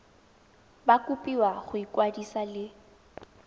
ba kopiwa go ikwadisa le